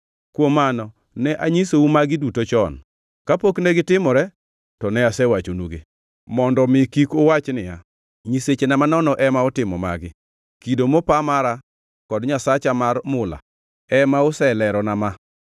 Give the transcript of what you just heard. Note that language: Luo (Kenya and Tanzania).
Kuom mano, ne anyisou magi duto chon, kapok negitimore, to ne asewachonugi, mondo omi kik uwach niya, ‘Nyisechena manono ema otimo magi; kido mopa mara kod nyasacha mar mula ema oselerona ma?’